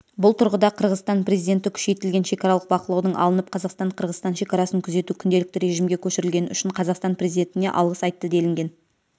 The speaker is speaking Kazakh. бұл тұрғыда қырғызстан президенті күшейтілген шекаралық бақылаудың алынып қазақстан-қырғызстан шекарасын күзету күнделікті режімге көшірілгені үшін қазақстан президентіне алғыс айтты делінген